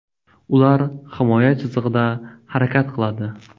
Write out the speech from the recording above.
Ular himoya chizig‘ida harakat qiladi.